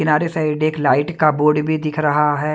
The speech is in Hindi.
किनारे साइड एक लाइट का बोर्ड भी दिख रहा है।